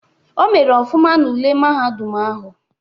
O mere ọfụma n'ule mahadum ahụ.